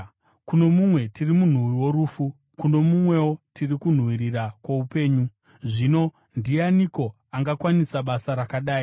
Kuno mumwe tiri munhuwi worufu; kuno mumwewo tiri kunhuhwirira kwoupenyu. Zvino ndianiko angakwanisa basa rakadai?